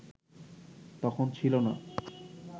তখন ছিল না